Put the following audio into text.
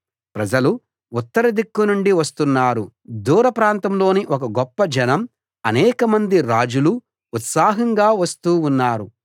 ప్రజలు ఉత్తర దిక్కునుండి వస్తున్నారు దూరప్రాంతంలోని ఒక గొప్ప జనం అనేకమంది రాజులూ ఉత్సాహంగా వస్తూ ఉన్నారు